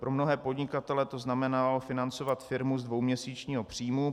Pro mnohé podnikatele to znamenalo financovat firmu z dvouměsíčního příjmu.